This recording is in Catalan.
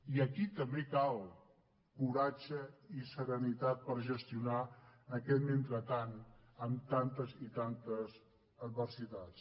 i aquí també cal coratge i serenitat per gestionar aquest mentrestant amb tantes i tantes adversitats